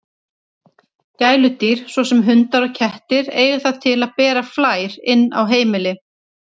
Gæludýr, svo sem hundar og kettir, eiga það til að bera flær inn á heimili.